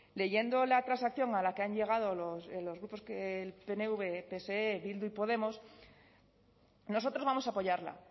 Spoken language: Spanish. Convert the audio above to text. leyendo la transacción a la que han llegado los grupos que el pnv pse bildu y podemos nosotros vamos a apoyarla